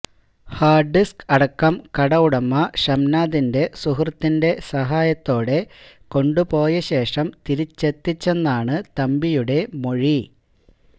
hard disk അടക്കം കട ഉടമ ഷംനാദിൻറെ സുഹൃത്തിൻറെ സഹായത്തോടെ കൊണ്ടു പോയ ശേഷം തിരിച്ചെത്തിച്ചെന്നാണ് തമ്പിയുടെ മൊഴി